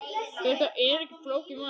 Þetta er ekki flókið mál.